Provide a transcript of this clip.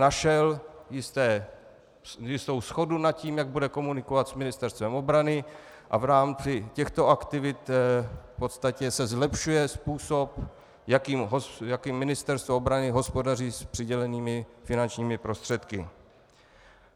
Našel jistou shodu nad tím, jak bude komunikovat s Ministerstvem obrany, a v rámci těchto aktivit v podstatě se zlepšuje způsob, jakým Ministerstvo obrany hospodaří s přidělenými finančními prostředky.